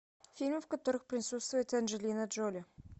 фильмы в которых присутствует анджелина джоли